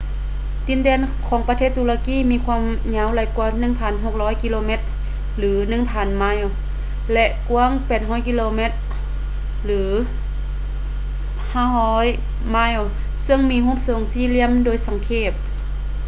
ດິນແດນຂອງປະເທດຕຸລະກີມີຄວາມຍາວຫຼາຍກ່ວາ 1,600 ກິໂລແມັດ 1,000 ໄມລ໌ ແລະ ກວ້າງ 800 ກິໂລແມັດ 500 ໄມລ໌ ເຊິ່ງມີຮູບຊົງສີ່ຫລ່ຽມໂດຍສັງເຂບ